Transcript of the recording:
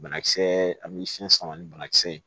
Banakisɛ ani siyɛn sama ni banakisɛ ye